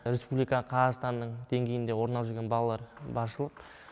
республика қазақстанның деңгейінде орын алып жүрген балалар баршылық